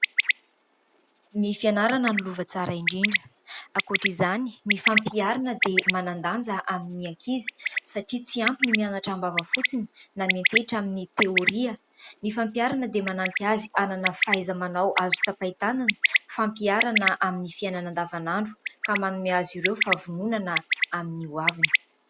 Ny fianarana no lova tsara indrindra. Ankoatra izany ny fampiharana dia manan-danja amin'ny ankizy satria tsy ampy ny mianatra am-bava fotsiny na miantehatra amin'ny teoria. Ny fampiharana dia manampy azy hanana faiza- manao azo tsapain-tanana. Fampiharana amin'ny fiainana andavanandro ka manome azy ireo fahavononana amin'ny ho aviny.